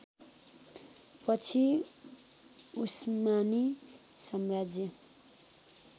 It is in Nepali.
पछि उस्मानी साम्राज्य